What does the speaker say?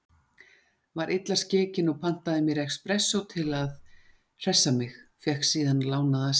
Var illa skekin og pantaði mér expressó til að hressa mig, fékk síðan lánaða símaskrá.